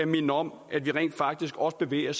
minder om at vi rent faktisk også bevæger